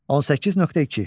18.2.